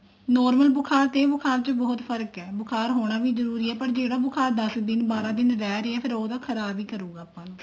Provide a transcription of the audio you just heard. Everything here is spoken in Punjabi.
normal ਬੁਖਾਰ ਚ ਤੇ ਇਹ ਬੁਖਾਰ ਚ ਬਹੁਤ ਫ਼ਰਕ ਹੈ ਬੁਖਾਰ ਹੋਣਾ ਵੀ ਜਰੂਰੀ ਹੈ ਜਿਹੜਾ ਬੁਖਾਰ ਦਸ ਦਿਨ ਬਾਰਾਂ ਦਿਨ ਰਿਹ ਰਿਹਾ ਫ਼ੇਰ ਉਹ ਤਾਂ ਖਰਾਬ ਹੀ ਕਰੂਗਾ ਆਪਾਂ ਨੂੰ